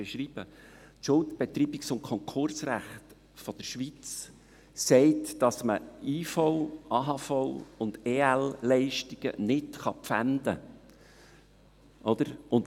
Das Schuldbetreibungs- und Konkursrecht der Schweiz besagt, dass man IV-, AHV- und EL-Leistungen nicht Pfänden kann.